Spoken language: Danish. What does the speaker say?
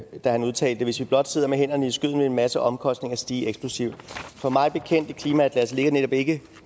år da han udtalte hvis vi blot sidder med hænderne i skødet vil en masse omkostninger stiger eksplosivt har mig bekendt i klimaatlasset ligger netop ikke